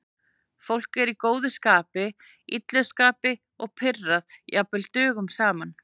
Fólk er í góðu skapi, illu skapi eða pirrað jafnvel dögum saman.